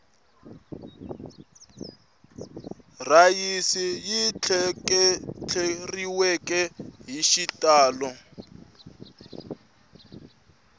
rhayisi yi tleketleriwele hi xitalo